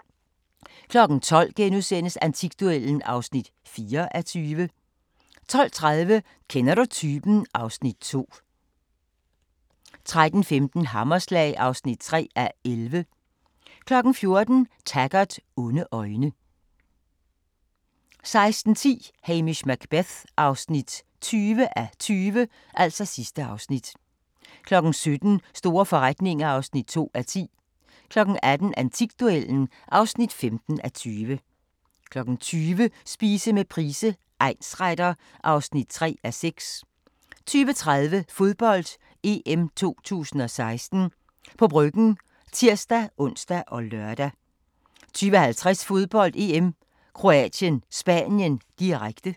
12:00: Antikduellen (4:20)* 12:30: Kender du typen? (Afs. 2) 13:15: Hammerslag (3:11) 14:00: Taggart: Onde øjne 16:10: Hamish Macbeth (20:20) 17:00: Store forretninger (2:10) 18:00: Antikduellen (15:20) 20:00: Spise med Price, egnsretter (3:6) 20:30: Fodbold: EM 2016 – på Bryggen (tir-ons og lør) 20:50: Fodbold: EM - Kroatien-Spanien, direkte